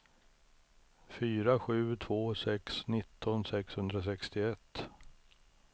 fyra sju två sex nitton sexhundrasextioett